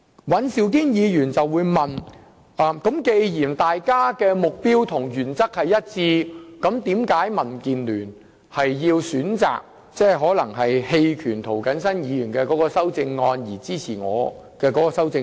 尹兆堅議員剛才問到，既然我們的修正案目標和原則一致，為何民主建港協進聯盟要選擇在表決時反對涂謹申議員的修正案，而支持我提出的修正案？